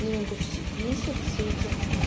меня это все бесит все эти